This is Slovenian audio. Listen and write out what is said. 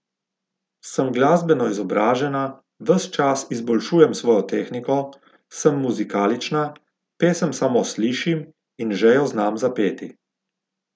Sem glasbeno izobražena, ves čas izboljšujem svojo tehniko, sem muzikalična, pesem samo slišim in že jo znam zapeti.